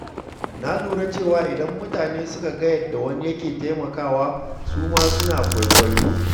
Na lura cewa idan mutane suka ga yadda wani ke taimakawa, su ma suna kwaikwayo.